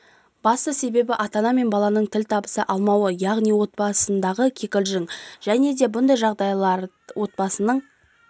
басты себебі ата-ана мен баланын тіл табыса алмауы яғни отбасындағы кикілжін жәнеде бұндай жағдайлар отбасының